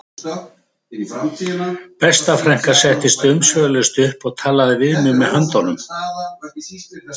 Besta frænka settist umsvifalaust upp og talaði við mig með höndunum